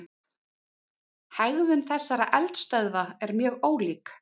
Hegðun þessara eldstöðva er mjög ólík.